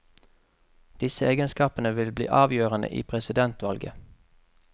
Disse egenskapene vil bli avgjørende i presidentvalget.